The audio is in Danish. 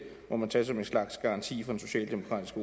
må man tage som en slags garanti fra den socialdemokratiske